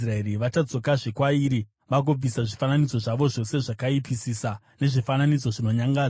“Vachadzokera kwairi vagobvisa zvifananidzo zvayo zvose zvakaipisisa nezvifananidzo zvinonyangadza.